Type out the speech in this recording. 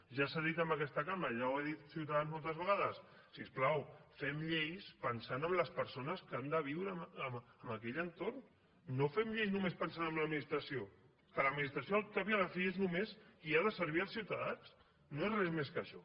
ja s’ha dit en aquesta cambra ja ho ha dit ciutadans moltes vegades si us plau fem lleis pensant en les persones que han viure en aquell entorn no fem lleis només pensant en l’administració que l’administració al cap i a la fi és només qui ha de servir als ciutadans no és res més que això